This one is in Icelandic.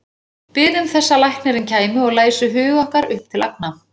Biðum þess að læknirinn kæmi og læsi hug okkar upp til agna.